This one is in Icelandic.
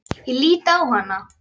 Ég lít á hana.